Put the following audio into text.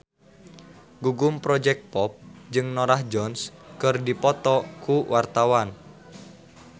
Gugum Project Pop jeung Norah Jones keur dipoto ku wartawan